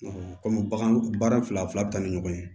Kɔmi bagan bagan fila fila be taa ni ɲɔgɔn ye